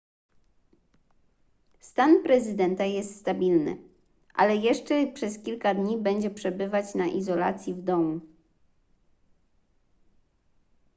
stan prezydenta jest stabilny ale jeszcze przez kilka dni będzie przebywać na izolacji w domu